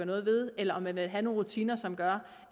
noget ved eller om man vil have nogle rutiner som gør